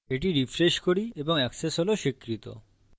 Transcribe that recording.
এটি refresh করি এবং access হল স্বীকৃত